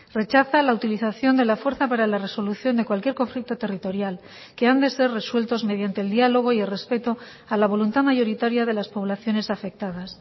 rechaza la utilización de la fuerza para la resolución de cualquier conflicto territorial que han de ser resueltos mediante el diálogo y el respeto a la voluntad mayoritaria de las poblaciones afectadas